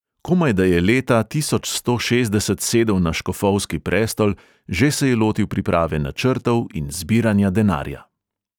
Komaj da je leta tisoč sto šestdeset sedel na škofovski prestol, že se je lotil priprave načrtov in zbiranja denarja.